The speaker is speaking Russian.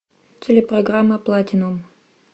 телепрограмма платинум